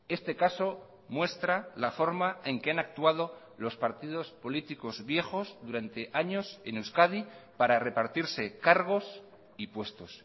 este caso muestra la forma en que han actuado los partidos políticos viejos durante años en euskadi para repartirse cargos y puestos